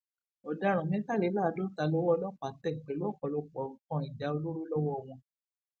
ọdaràn mẹtàléláàádọta lowó ọlọpàá tẹ pẹlú ọpọlọpọ nǹkan ìjà olóró lọwọ wọn